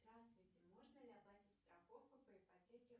здравствуйте можно ли оплатить страховку по ипотеке